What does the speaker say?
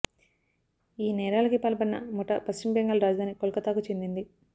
ఈ నేరాలకి పాల్పడిన ముఠా పశ్చిమ బెంగాల్ రాజధాని కోల్కతాకు చెందింది